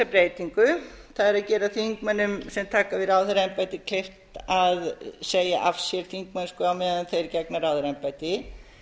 breytingu það er að gera þingmönnum sem taka við ráðherraembætti kleift að segja af sér þingmennsku á meðan þeir gegna ráðherraembætti